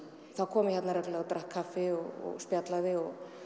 þá kom ég þarna reglulega og drakk kaffi og spjallaði og